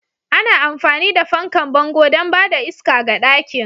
Ana amfani da fankan bango don ba da iska ga ɗakin.